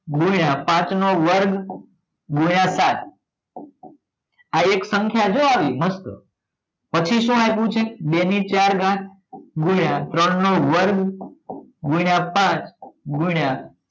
ગુણ્યા પાંચ નો વર્ગ ગુણ્યા સાત આ એક સંખ્યા છે આવી મસ્ત પછી શું નાખ્યું છે બે ને ચાર ઘાત ગુણ્યા ત્રણ નો વર્ગ ગુણ્યા પછ ગુણ્યા